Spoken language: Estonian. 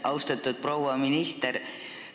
Austatud proua minister!